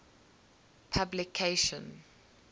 publication